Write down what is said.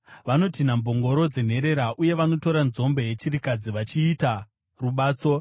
Vanotinha mbongoro dzenherera, uye vanotora nzombe yechirikadzi vachiita rubatso.